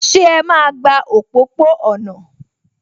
Ṣé ẹ máa gba òpópó-ọ̀nà?